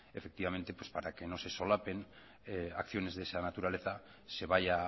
efectivamente para que no se solapen acciones de esa naturaleza se vaya